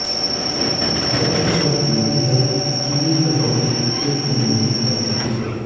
जबकि तर्क ये भी है कि ये कटौती एकदम नहीं की जा सकती है